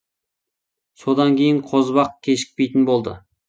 содан кейін қозыбақ кешікпейтін болды